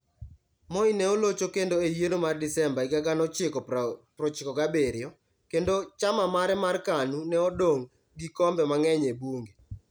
Moi ne olocho kendo e yiero mar Desemba 1997, kendo chama mare mar KANU ne odong' gi kombe mang'eny e bunge.